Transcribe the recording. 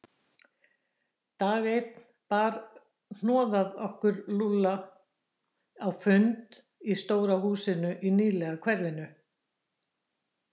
Dag einn bar hnoðað okkur Lúlla á fund í stóru húsi í nýlegu hverfi.